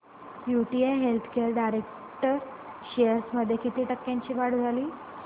UTI healthcare direct shares मध्ये किती टक्क्यांची वाढ झाली